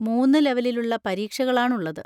മൂന്ന് ലെവലിലുള്ള പരീക്ഷകളാണുള്ളത്.